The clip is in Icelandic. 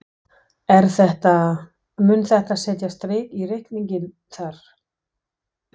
Er þetta, mun þetta setja strik í reikninginn þar?